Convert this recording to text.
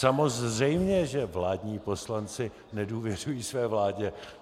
Samozřejmě že vládní poslanci nedůvěřují své vládě.